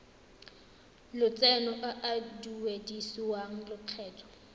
lotseno a a duedisiwang lokgetho